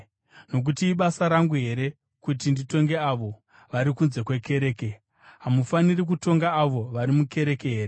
Nokuti ibasa rangu here kuti nditonge avo vari kunze kwekereke? Hamufaniri kutonga avo vari mukereke here?